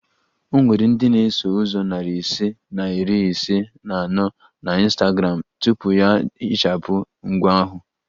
O nwere ndị na-eso ụzọ narị ise na iri ise na anọ na Instagram tupu ya ehichapụ ngwa ahụ